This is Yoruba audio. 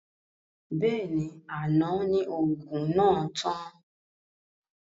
Bẹ́ẹ̀ni, àná ni òògùn náà tán